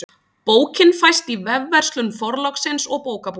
Bókin fæst í vefverslun Forlagsins og bókabúðum.